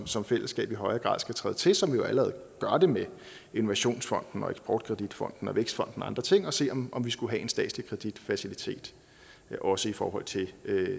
som fællesskab i højere grad skal træde til som vi jo allerede gør det med innovationsfonden eksportkreditfonden og vækstfonden og andre ting og se om vi skulle have en statslig kreditfacilitet også i forhold til